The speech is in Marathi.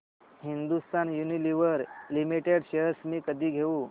हिंदुस्थान युनिलिव्हर लिमिटेड शेअर्स मी कधी घेऊ